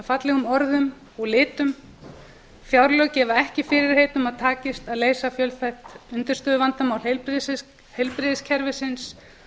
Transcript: fallegum orðum og litum fjárlög gefa ekki fyrirheit um að takist að leysa fjölþætt undirstöðuvandamál heilbrigðiskerfisins